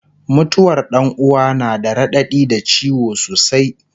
mutuwar Ɗan uwa na da raɗaɗi da ciwo sosai